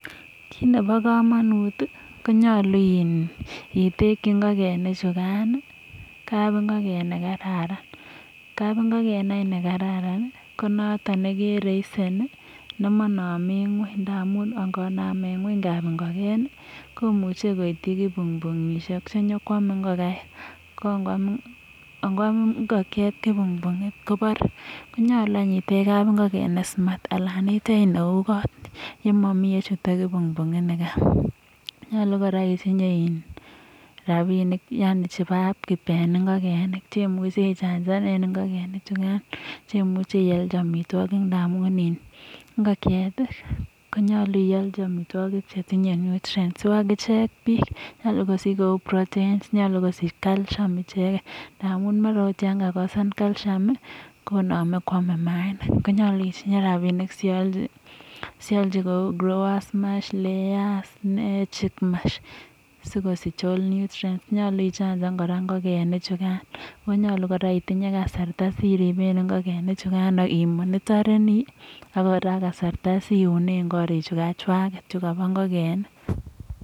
kit ne bo kamanut konyalu itekchi ngokanik chukan kabingoken nekararan ne noto nekeraisen nemaname ngony amu ngoname ngony koitu kibungbingishek che nyekwame ngokaik ak kokwam kobare. konyalu itech kabingoken ne smart anan neo kou kot si machut kibungbungishet ni kai nyalu kora isich rabinik che imuchi ichanchan ak ialchi amitwogik amu ngokyet ko nyalu ialchi amitwigik che tinye nutrients u agichek bik konyalu kosich calcium simaam mayainik. nyalu ialchi kou ]cs]growers mash layers nyalu kora ichachan ak ikisich karastra simonitoni ak kosar kasarta si unen korik chikachwak